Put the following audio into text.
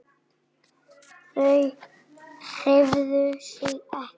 Þau hreyfðu sig ekki.